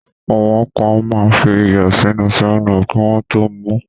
Àwọn kan máa ń fi iyọ̀ sínú 7up kí wọ́n tó mu ú.